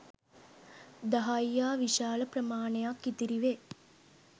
දහයියා විශාල ප්‍රමාණයක් ඉතිරි වේ.